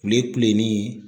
Kulekulenin